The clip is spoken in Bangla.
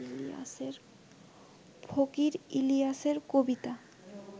ফকির ইলিয়াসের কবিতা